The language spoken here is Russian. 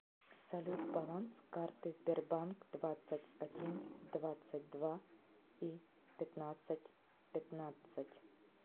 салют баланс карты сбербанк двадцать один двадцать два и пятнадцать пятнадцать